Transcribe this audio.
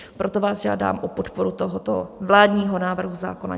Proto vás žádám o podporu tohoto vládního návrhu zákona.